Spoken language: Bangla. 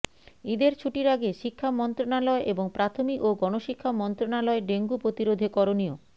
ঈদের ছুটির আগে শিক্ষা মন্ত্রণালয় এবং প্রাথমিক ও গণশিক্ষা মন্ত্রণালয় ডেঙ্গু প্রতিরোধে করণীয়